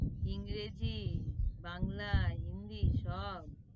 ইংরেজি, বাংলা, হিন্দি সব।